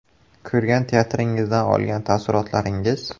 Ko‘rgan teatringizdan olgan taassurotlaringiz?